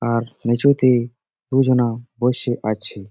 আর নিচুতে দুই জনা বসে আছে।